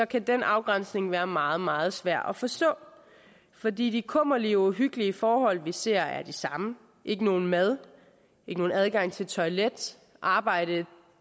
kan den afgrænsning være meget meget svær at forstå fordi de kummerlige og uhyggelige forhold vi ser er de samme ikke noget mad ikke nogen adgang til toilet arbejde